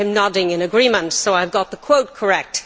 I see him nodding in agreement, so I have got the quote correct.